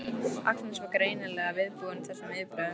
Agnes var greinilega viðbúin þessum viðbrögðum.